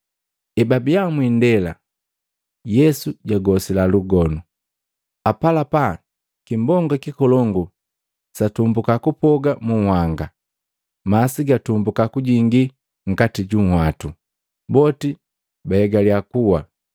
Ebabiya mwindela, Yesu jagosila lugonu. Apalapa kimbonga kikolongu satumbuka kupoga mu nhanga, masi gatumbuka kujingi nkati ju unwatu, boti baegaliya kuwa.